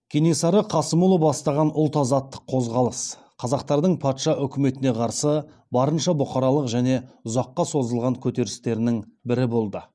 кенесары қасымұлы бастаған ұлт азаттық қозғалыс қазақтардың патша үкіметіне қарсы барынша бұқаралық және ұзаққа созылған көтерілістерінің бірі болды